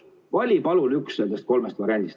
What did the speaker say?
Vali palun üks nendest kolmest variandist.